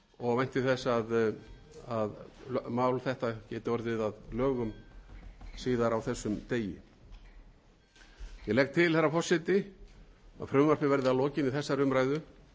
og vænti þess að að mál þetta geti orðið að lögum síðar á þessum degi ég legg til herra forseti að frumvarpinu verði að lokinni þessari umræðu